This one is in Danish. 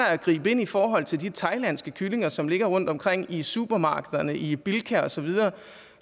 at gribe ind i forhold til de thailandske kyllinger som ligger rundtomkring i supermarkederne i bilka og så videre